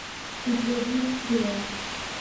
у тебя будет стрела